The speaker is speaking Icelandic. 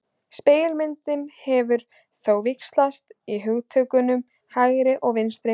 Spegilmyndin hefur þó víxlað á hugtökunum hægri og vinstri.